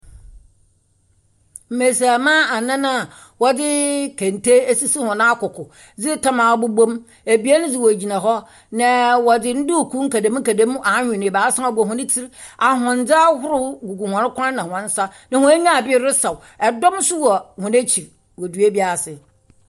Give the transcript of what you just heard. Mbasiamba anan a wɔdze tam esisi wɔn akoko dze tam abobɔ mu, ebien dze wogyina hɔ. na wɔdze nduukuu nkadamu nkadamu awen no ebiasa bɔ hɔn tsir, ahondze ahorow gugu hɔn kɔn na hɔn nsa na hɔn enyi aber resaw, dɔm nso wɔ hɔn ekyir wɔ dua bi ase.